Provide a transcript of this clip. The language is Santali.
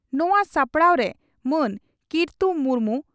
ᱱᱚᱣᱟ ᱥᱟᱯᱲᱟᱣᱨᱮ ᱢᱟᱱ ᱠᱤᱨᱛᱩ ᱢᱩᱨᱢᱩ